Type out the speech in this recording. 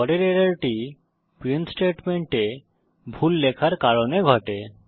পরের এররটি প্রিন্ট স্টেটমেন্টে ভুল লেখার কারণে ঘটে